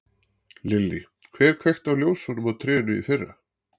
Lillý: Hver kveikti á ljósunum á trénu í fyrra?